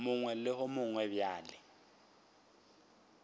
mongwe le wo mongwe bjalo